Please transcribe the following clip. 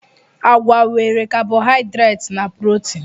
Agwa nwere kabohaidreti na protin.